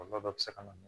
Kɔlɔlɔ dɔ bɛ se ka na